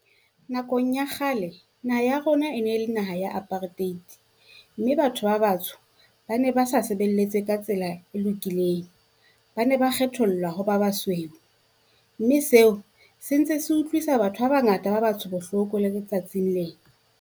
Nakong ya kgale naha ya rona e ne le naha ya apartheid, mme batho ba batsho ba ne ba sa lebelletse ka tsela e lokileng. Ba ne ba kgethollwa ho ba basweu, mme seo sentse se utlwisa batho ba bangata ba batsho bohloko le letsatsing lena.